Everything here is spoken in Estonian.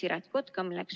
Aitäh!